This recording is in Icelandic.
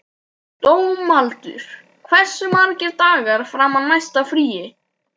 Dómaldur, hversu margir dagar fram að næsta fríi?